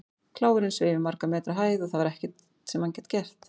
Kláfurinn sveif í margra metra hæð og það var ekkert sem hann gat gert.